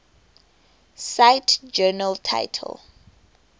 cite journal title